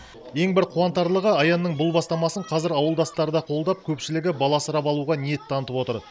ең бір қуантарлығы аянның бұл бастамасын қазір ауылдастары да қолдап көпшілігі бала асырап алуға ниет танытып отыр